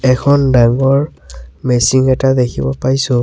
এখন ডাঙৰ মেচিং এটা দেখিব পাইছোঁ।